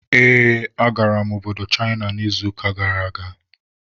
Ee, agara m obodo Chịna n'izuụka gara aga.